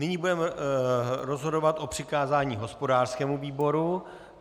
Nyní budeme rozhodovat o přikázání hospodářskému výboru.